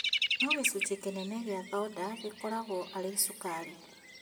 No gĩcunjĩ kĩnene gĩa thonda gĩkoragwo arĩ cukari